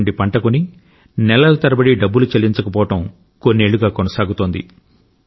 రైతు నుండి పంట కొని నెలల తరబడి డబ్బులు చెల్లించకపోవడం కొన్నేళ్లుగా కొనసాగుతోంది